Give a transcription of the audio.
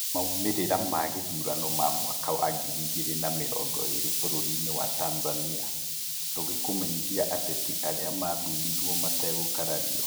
Maũmĩrĩra magĩthurano ma mwaka wa ngiri igĩrĩ na mĩrongo ĩrĩ bũrũri-inĩ wa Tanzania: Tũgĩkũmenyithia ateti arĩa mathurirwo mategũkarario.